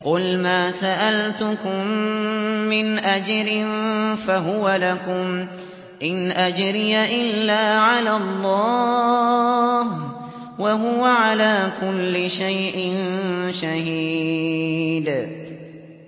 قُلْ مَا سَأَلْتُكُم مِّنْ أَجْرٍ فَهُوَ لَكُمْ ۖ إِنْ أَجْرِيَ إِلَّا عَلَى اللَّهِ ۖ وَهُوَ عَلَىٰ كُلِّ شَيْءٍ شَهِيدٌ